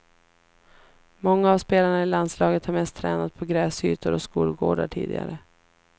Många av spelarna i landslaget har mest tränat på gräsytor och skolgårdar tidigare.